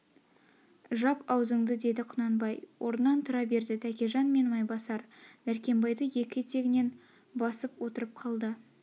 жап аузыңды деді құнанбай орнынан тұра берді тәкежан мен майбасар дәркембайды екі етегнен басып отырып қалды